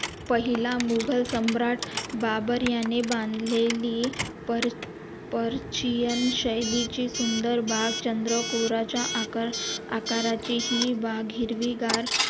पहिला मुघल सम्राट बाबर याने बांधलेली पर पर्शियन शैलीची सुंदर बाग चंद्रकोरेच्या आका अकराची हि बाग हिरवी गार